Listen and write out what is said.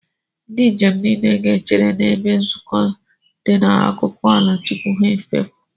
Ndị njem niile ga-echere n'ebe nzukọ dị n'akụkụ ala tupu ha efepụ.